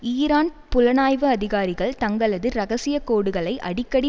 Iran புலனாய்வு அதிகாரிகள் தங்களது இரகசிய கோடுகளை அடிக்கடி